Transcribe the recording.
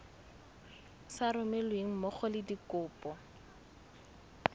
sa romelweng mmogo le dikopo